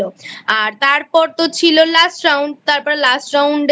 আর তারপর তো ছিল Last Round তারপর Last Round এ